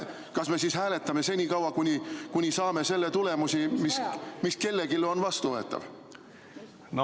Kas me siis hääletame senikaua, kuni saame selle tulemuse, mis kellelegi on vastuvõetav?